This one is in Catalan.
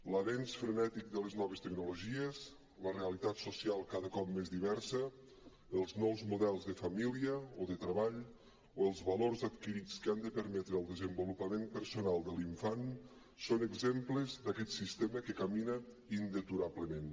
l’avenç frenètic de les noves tecnologies la realitat social cada cop més diversa els nous models de família o de treball o els valors adquirits que han de permetre el desenvolupament personal de l’infant són exemples d’aquest sistema que camina indeturablement